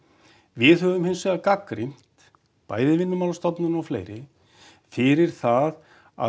við höfum hins vegar gagnrýnt bæði Vinnumálastofnun og fleiri fyrir það að